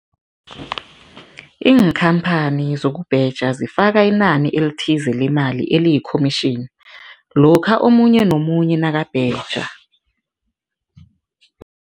Iinkhamphani zokubheja zifaka inani elithize lemali eliyi-commission lokha omunye nomunye nakabheja.